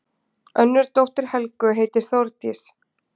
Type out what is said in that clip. Önnur dóttir Helgu heitir Þórdís.